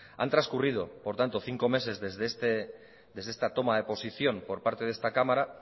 han transcurrido por tanto cinco meses desde esta toma de posición por parte de esta cámara